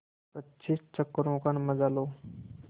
पच्चीस चक्करों का मजा लो